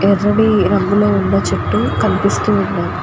ఎర్రని రంగులో ఉన్న చెట్టు కనిపిస్తూ ఉన్న --